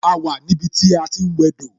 A wà ní ibi tí a ti ń wẹ dò